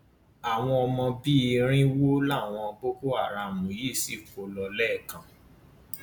àwọn ọmọ bíi irínwó làwọn boko haram yìí sì kó lọ lẹẹkan